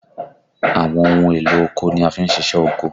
Àwọn ohun èlò oko ni a fi n ṣiṣẹ́ oko